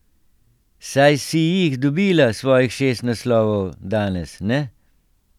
Saj si jih dobila, svojih šest naslovov, danes, ne?